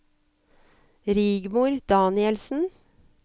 Rigmor Danielsen